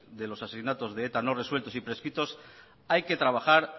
de los asesinatos de eta no resueltos y prescritos hay que trabajar